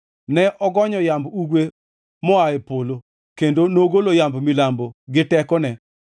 Ne ogonyo yamb ugwe moa e polo, kendo nogolo yamb milambo gi tekone.